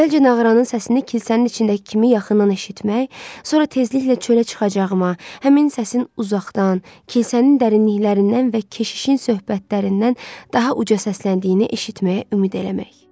Əvvəlcə nağaranın səsini kilsənin içindəki kimi yaxından eşitmək, sonra tezliklə çölə çıxacağıma, həmin səsin uzaqdan, kilsənin dərinliklərindən və keşişin söhbətlərindən daha uca səsləndiyini eşitməyə ümid eləmək.